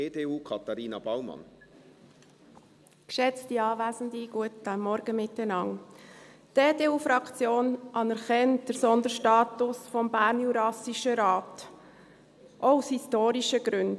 Die EDU-Fraktion anerkennt den Sonderstatus des Bernjurassischen Rates (BJR) auch aus historischen Gründen.